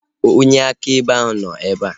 Onye akaebe ahu nọ ebea